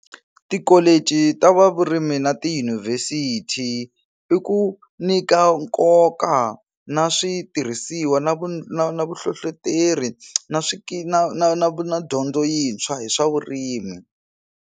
Tikholichi ta va vurimi na tiyunivhesithi i ku nyika nkoka na switirhisiwa na vu na na vuhlohloteri na swi na na na na dyondzo yintshwa hi swa vurimi.